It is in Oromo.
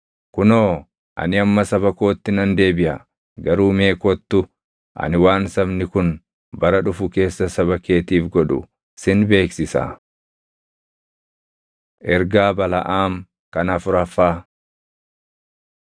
Kunoo ani amma saba kootti nan deebiʼa; garuu mee kottu ani waan sabni kun bara dhufu keessa saba keetiif godhu sin beeksisaa.” Ergaa Balaʼaam Kan Afuraffaa